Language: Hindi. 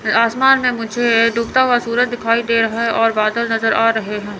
आसमान में मुझे डूबता हुआ सूरज दिखाई दे रहा है और बादल नजर आ रहे हैं।